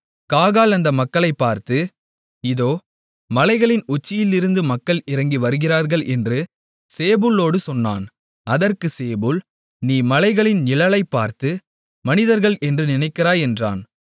காகால் அந்த மக்களைப் பார்த்து இதோ மலைகளின் உச்சிகளிலிருந்து மக்கள் இறங்கி வருகிறார்கள் என்று சேபூலோடு சொன்னான் அதற்குச் சேபூல் நீ மலைகளின் நிழலைப் பார்த்து மனிதர்கள் என்று நினைக்கிறாய் என்றான்